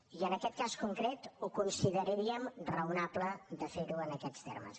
i en aquest cas concret ho consideraríem raonable de ferho en aquests termes